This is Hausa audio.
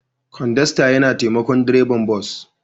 Kodasta yana taimakon direban bas.